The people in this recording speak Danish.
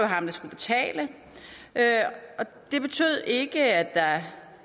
ham der skulle betale men det betød ikke at